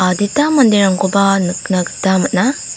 adita manderangkoba nikna gita man·a.